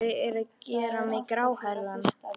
Þau eru að gera mig gráhærða!